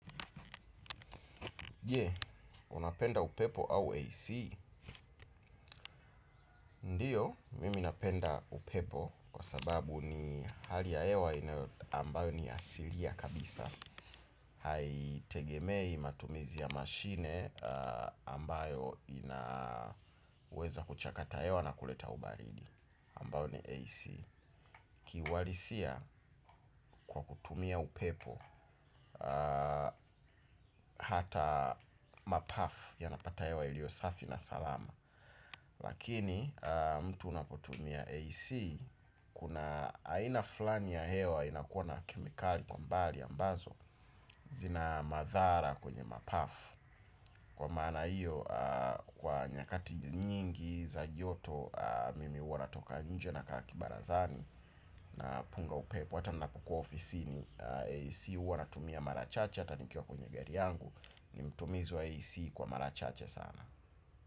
Je, unapenda upepo au AC? Hio, mimi napenda upepo kwa sababu ni hali ya hewa ambayo ni ya asili kabisa. Haitegemei matumizi ya mashine ambayo inaweza kuchakata hewa na kuleta ubaridi, ambayo ni AC. Ki uhalisia kwa kutumia upepo hata mapafu yanapata hewa ilio safi na salama. Lakini mtu unapotumia AC kuna aina fulani ya hewa inakuwa na kemikali kwa umbali ambazo zina madhara kwenye mapafu. Kwa maana hio, kwa nyakati nyingi za joto mimi huwa natoka nje nakaa kibarazani na punga upepo. Hata ninapokuwa ofisini, AC huwa natumia mara chache hata nikiwa kwenye gari yangu ni mtumizi wa AC kwa mara chache sana.